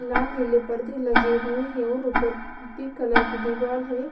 लाल नीले पर्दे लगे हुए हैं और ऊपर पिंक कलर की दीवार है।